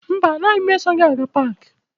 Mba, anaghị m eso gị aga paakị.